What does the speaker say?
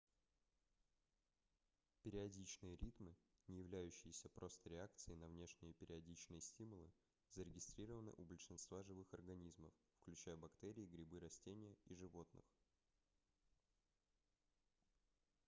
периодичные ритмы не являющиеся просто реакцией на внешние периодичные стимулы зарегистрированы у большинства живых организмов включая бактерии грибы растения и животных